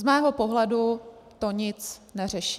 Z mého pohledu to nic neřeší.